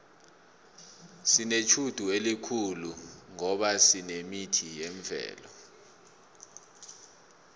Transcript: sinetjhudu khulu ngoba sinemithi yemvelo